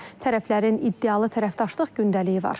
Tərəflərin iddialı tərəfdaşlıq gündəliyi var.